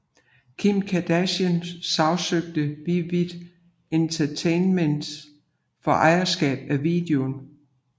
Kim Kardashian sagsøgte Vivid Entertainment for ejerskab af videoen